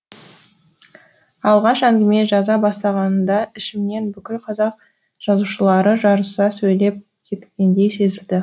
алғаш әңгіме жаза бастағанымда ішімнен бүкіл қазақ жазушылары жарыса сөйлеп кеткендей сезілді